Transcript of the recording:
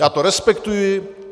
Já to respektuji.